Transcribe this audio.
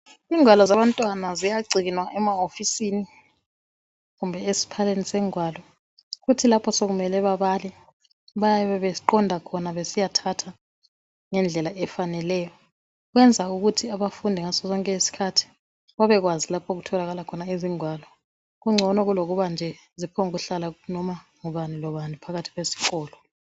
Igwalo zabantwana ziyagcinwaa emawofisini kumbe esiphaleni segwalo kuthi lapho sekumele bebale bayabe beqonda khona besiyathatha ngendlela efaneleyo kuyenza ukuthi abafundi ngasosonke iskhathi babekwazi lapho okutholakala khona izigwalo kungcono kulokubanje ziphonkuhlala noma ngubani lobani phakathi kwesikolo